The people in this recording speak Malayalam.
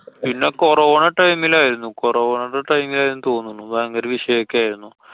പിന്നെ CORONA time ല്‍ ആയിരുന്നു. CORONA ടെ time ലായിരുന്നുന്നു തോന്നുണു. ഭയങ്കര വിഷയൊക്കെ ആയിരുന്നു.